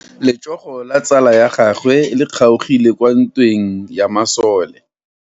Letsogo la tsala ya gagwe le kgaogile kwa ntweng ya masole.